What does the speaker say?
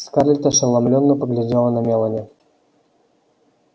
скарлетт ошеломлённо поглядела на мелани